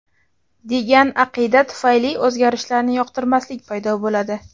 degan aqida tufayli o‘zgarishlarni yoqtirmaslik paydo bo‘ladi.